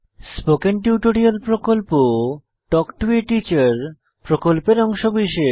spoken tutorial প্রকল্প talk to a teacher প্রকল্পের অংশবিশেষ